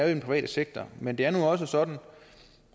den private sektor men det er også sådan